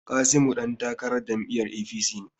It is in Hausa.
Kasimu dan takarar jam'iyyar APC ne.